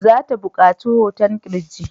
Za ta buƙaci hoton ƙirji.